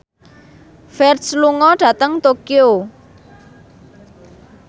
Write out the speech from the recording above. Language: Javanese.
Ferdge lunga dhateng Tokyo